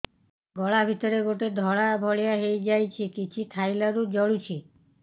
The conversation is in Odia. ଗଳା ଭିତରେ ଗୋଟେ ଧଳା ଭଳିଆ ହେଇ ଯାଇଛି କିଛି ଖାଇଲାରୁ ଜଳୁଛି